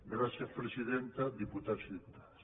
gràcies presidenta diputats i diputades